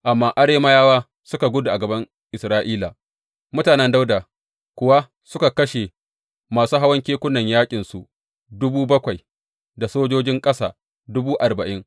Amma Arameyawa suka gudu a gaban Isra’ila, mutanen Dawuda kuwa suka kashe masu hawan keken yaƙinsu dubu bakwai da sojojin ƙasa dubu arba’in.